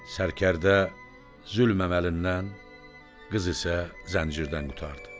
Sərkərdə zülm əməlindən, qız isə zəncirdən qurtardı.